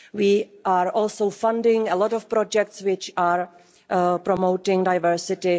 We are also funding a lot of projects which promote diversity.